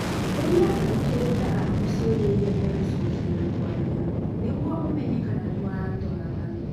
ũria athikĩrĩria aku ciũria iria magũcokia na kwaria nĩguo ũmenye kana nĩmũratwarana.